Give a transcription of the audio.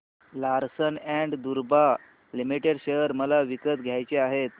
Larsen and टुर्बो limited share मला विकत घ्यायचे आहेत